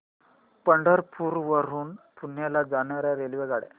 पंढरपूर वरून पुण्याला जाणार्या रेल्वेगाड्या